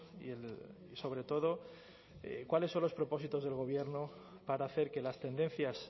y sobre todo cuáles son los propósitos del gobierno para hacer que las tendencias